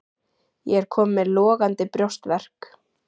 Ég er kominn með logandi brjóstverk.